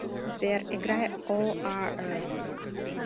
сбер играй о а эр